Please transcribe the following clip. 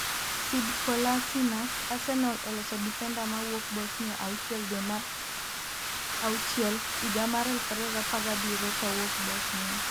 Sead Kolasinac: Arsenal oloso defender ma wuok Bosnia 6 dwe mar auchiel higa mar 2017. kowuok Bosnia.